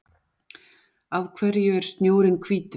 Af hverju er snjórinn hvítur?